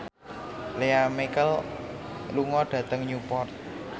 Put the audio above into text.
Lea Michele lunga dhateng Newport